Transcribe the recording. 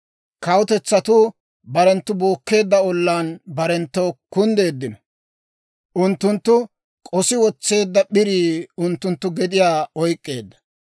Kawutetsatuu barenttu bookkeedda ollaan barenttoo kunddeeddino. Unttunttu k'osi wotseedda p'irii unttunttu gediyaa oyk'k'eedda.